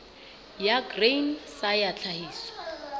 ya grain sa ya tlhahiso